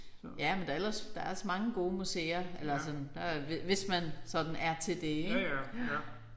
Ja men der er ellers der er ellers mange gode museer eller sådan der er hvis hvis man sådan er til det ik